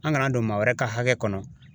An kana don maa wɛrɛ ka hakɛ kɔnɔ.